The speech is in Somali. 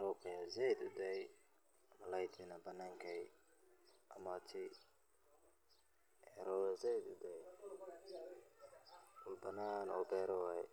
rob aya said udaay malalaydna bananka ayey imate robna said ayu udai rabtaa meel banan oo beera waye.